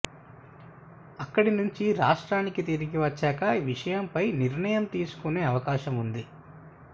అక్కడి నుంచి రాష్ట్రానికి తిరిగి వచ్చాక ఈ విషయం ఫై నిర్ణయం తీసుకునే అవకాశముంది